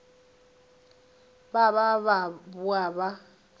ba ba ba boa ba